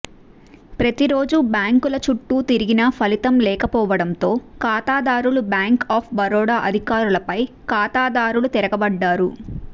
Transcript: ప్రతిరోజూ బ్యాంకుల చుట్టూ తిరిగినా ఫలితం లేకపోవడంతో ఖాతాదారులు బ్యాంకు ఆఫ్ బరోడా అధికారులపై ఖాతాదారులు తిరగబడ్డారు